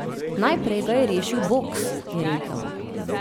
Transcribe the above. Najprej ga je rešil boks, je rekel.